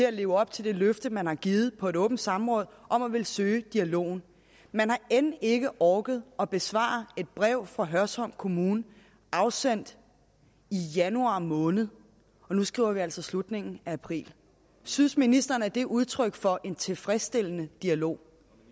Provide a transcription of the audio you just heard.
at leve op til det løfte man har givet på et åbent samråd om at ville søge dialogen man har end ikke orket at besvare et brev fra hørsholm kommune afsendt i januar måned og nu skriver vi altså slutningen af april synes ministeren at det er udtryk for en tilfredsstillende dialog